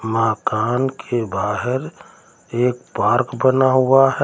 मकान के बाहर एक पार्क बना हुआ है।